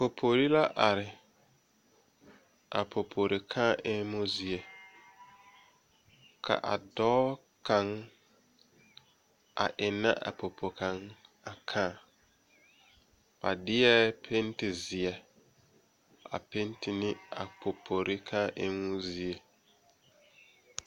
Popori la are a popori kaa eŋmo zie ka a dɔɔ kaŋa a eŋnɛ a popo kaŋa a kaa ba deɛ pentizeɛ a penti ne a popori kaa eŋmo zie.